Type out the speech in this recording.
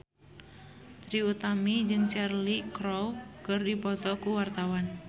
Trie Utami jeung Cheryl Crow keur dipoto ku wartawan